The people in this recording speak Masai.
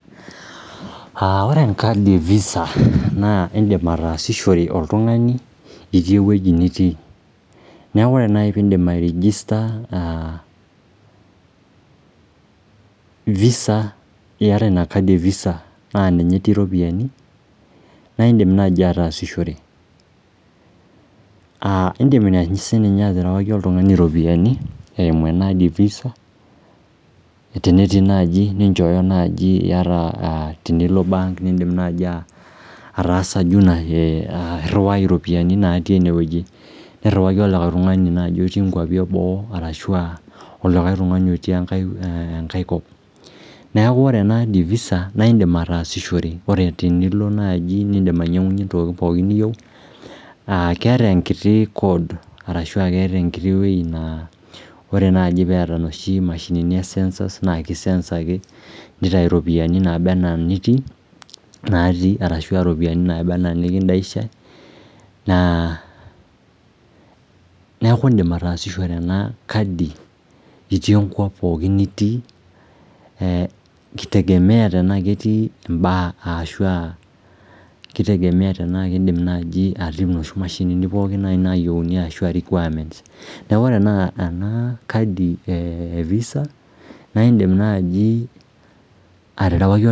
Ore enkadi e visa naa in'dim aatasishore oltungani itii ewueji nitii niaku ore nai piidim airegister visa iyata ina kadi e visa naa ninye etii iropiani naa iindim nai atasishore aah in'dim aterewaki oltungani iropiani tenetii naji ata tenilo embenki naji ataasa irhiwai iropiani natii enewueji nirhiwaki olikae tung'ani otii ingwapi eboo arashu aa olikai tungani otii enkae kop neeku ena ena visa naa in'dim ataasishore Tenilo naaji eniyieu keeta enkiti wuei naa ore naai peeta inoshi mashini esensors naa kisense ake nitayu naba enaa inatii arashu aa iropiani naiba enaa inekindaisha niaku in'dim atasishore ena kadi itii enkop pookin nitii eehitegemea tenaa ketii imbaa enaa inoshi mashinini pookin naayieuni Neaku ore ena kadi e visa naa in'dim naji aterewaki